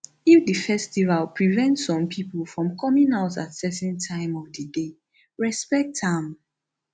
if di festival prevent some pipo from coming out at certain time of di day respect am